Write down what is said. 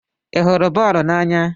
Ị hụrụ boolu n'anya?